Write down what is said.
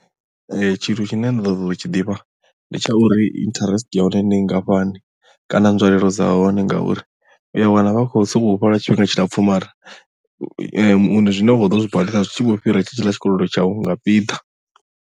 Tshithu tshine nda ḓo ṱoḓa u tshi ḓivha ndi tsha uri interest ya hone ndi nngafhani kana nzwalelo dza hone ngauri uya wana vha khou sokou fha lwa tshifhinga tshilapfu mara zwine wa khou ḓo zwi badela zwi tshi vho fhira tshe tshiḽa tshikolodo tshau nga piḓa.